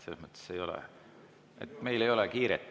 Selles mõttes meil ei ole kiiret.